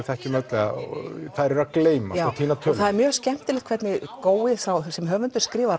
þekkjum öll þær eru að gleymast og týna tölunni það er mjög skemmtilegt hvernig gói sem höfundur skrifar